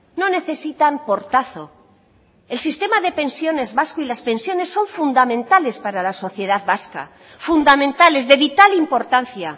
no necesitan portazo el sistema de pensiones vasco y las pensiones son fundamentales para la sociedad vasca fundamentales de vital importancia